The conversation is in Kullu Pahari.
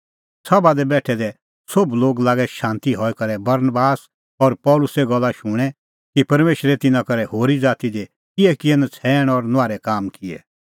सभा दी बेठै दै सोभ लोग लागै शांत हई करै बरनबास और पल़सीए गल्ला शूणैं कि परमेशरै तिन्नां करै होरी ज़ाती दी किहैकिहै नछ़ैण और नुआहरै काम किऐ